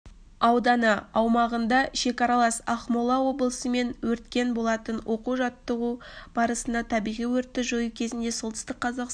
ауданы аумағында шекаралас ақмола облысымен өрткен болатын оқу-жаттығу барысында табиғи өртті жою кезінде солтүстік қазақстан